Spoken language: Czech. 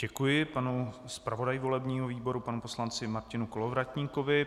Děkuji panu zpravodaji volebního výboru panu poslanci Martinu Kolovratníkovi.